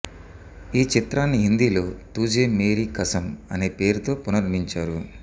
ఈ చిత్రాన్ని హిందీలో తుఝే మేరీ కసమ్ అనే పేరుతో పునర్మించారు